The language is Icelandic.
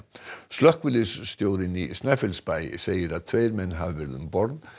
slökkviliðsstjórinn í Snæfellsbæ segir að tveir menn hafi verið um borð